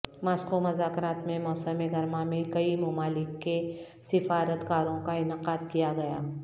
Moscow مذاکرات میں موسم گرما میں کئی ممالک کے سفارت کاروں کا انعقاد کیا گیا